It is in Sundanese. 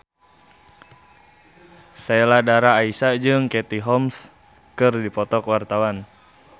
Sheila Dara Aisha jeung Katie Holmes keur dipoto ku wartawan